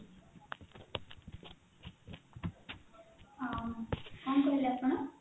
ଆଁ କଣ କହିଲେ ଆପଣ?